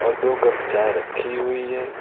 दो कप चाय रखी हुई है।